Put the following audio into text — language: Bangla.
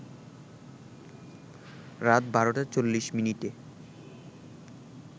রাত ১২টা ৪০ মিনিটে